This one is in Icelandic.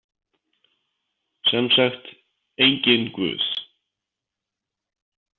Sem sagt, enginn guð.